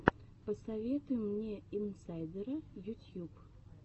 посоветуй мне инсайдера ютьюб